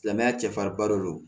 Silamɛya cɛfarinba de don